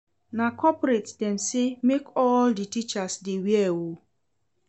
Na corporate dem sey make all di teachers dey wear o.